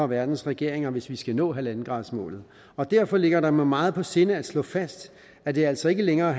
verdens regeringer hvis vi skal nå en gradersmålet derfor ligger det mig meget på sinde at slå fast at det altså ikke længere